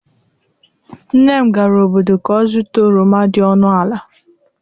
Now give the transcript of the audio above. nnem gara obodo ka o zuta oroma di ọnụ ala